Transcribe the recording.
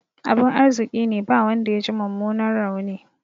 Abin arziƙine ba wanda yaji mummunan rauni.